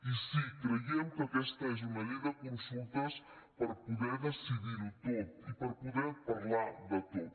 i sí creiem que aquesta és una llei de consultes per poder decidir ho tot i per poder parlar de tot